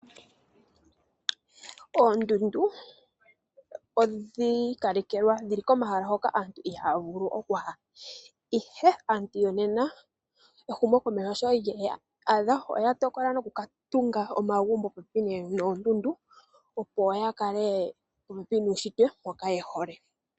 Oondundu odhi ikalekelwa dhili komahala hoka aantu ihaya vulu okuya ihe aantu yonena ehumokomeho sho lyeya adha oya tokola noku katunga omagumbo popepi noondundu opo yakale popepi nuushitwe mboka yehole.